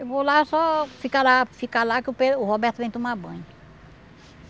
Eu vou lá só ficar lá ficar lá que o Pedro o Roberto vem tomar banho.